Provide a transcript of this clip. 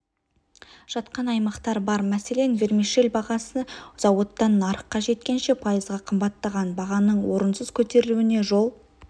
жатқан аймақтар бар мәселен вермишель бағасы зауыттан нарыққа жеткенше пайызға қымбаттаған бағаның орынсыз көтерілуіне жол